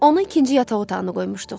Onu ikinci yataq otağına qoymuşduq.